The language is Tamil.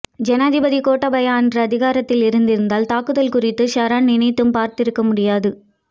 ஜனாதிபதி கோட்டாபய அன்று அதிகாரத்தில் இருந்திருந்தால் தாக்குதல் குறித்து சஹ்ரான் நினைத்தும் பார்த்திருக்க முடியாது